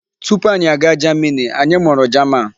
Tupu anyị aga jamini, anyị mụrụ jaman.